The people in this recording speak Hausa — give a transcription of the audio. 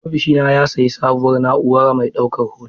Ofishina ya sayi sabuwar na'ura mai daukar hoto.